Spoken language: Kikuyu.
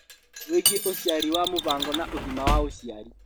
Wĩgiĩ ũciari wa mũbango na ũgima wa ũciari